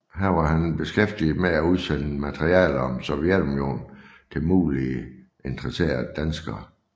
Her var han beskæftiget med at udsende materiale om Sovjetunionen til muligt interesserede danskere